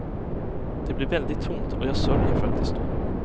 Det blir väldigt tomt, och jag sörjer faktiskt då.